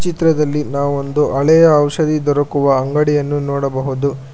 ಚಿತ್ರದಲ್ಲಿ ನಾವು ಒಂದು ಹಳೆಯ ಔಷಧಿ ದೊರಕುವ ಅಂಗಡಿಯನ್ನು ನೋಡಬಹುದು.